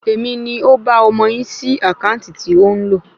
Èmi ni ó ba ọmọ yín sí àkáǹtì tí ó ń lò